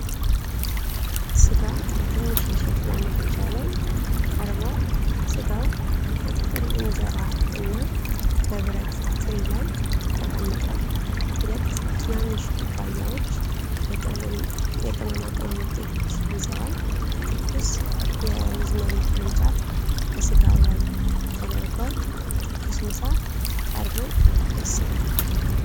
ሥጋ በትንሽ የሸክላ ምድጃ ላይ ቀርቧል። ሥጋው በጥቅል እንጀራ እና በብረት ትሪ ላይ ተቀምጧል። ሁለት ትናንሽ ኩባያዎች የቅመማ ቅመም ወጦችን ይዘዋል። ትኩስ የሮዝሜሪ ቅርንጫፍ በሥጋው ላይ ተደርጓል። ትኩስ ምሳ ቀርቦ ደስ ይላል።